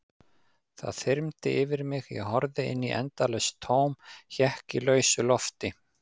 Það þyrmdi yfir mig, ég horfði inn í endalaust tóm, hékk í lausu lofti.